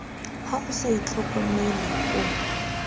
ha o sa itlhokomele o